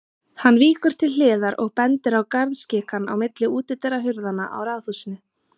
Hann víkur til hliðar og bendir á garðskikann á milli útidyrahurðanna á raðhúsinu.